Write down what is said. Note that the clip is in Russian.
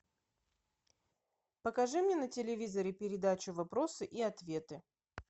покажи мне на телевизоре передачу вопросы и ответы